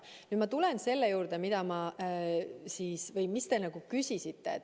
Nüüd ma tulen selle juurde, mida te küsisite.